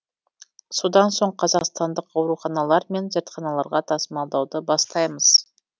содан соң қазақстандық ауруханалар мен зертханаларға тасымалдауды бастаймыз